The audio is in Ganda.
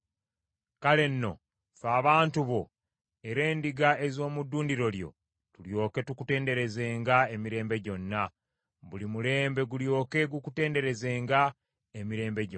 Kale nno, ffe abantu bo era endiga ez’omu ddundiro lyo, tulyoke tukutenderezenga emirembe gyonna; buli mulembe gulyoke gukutenderezenga emirembe gyonna.